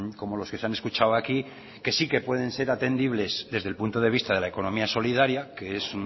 como los que se han escuchado aquí que sí que pueden ser atendibles desde el punto de vista de la economía solidaria que es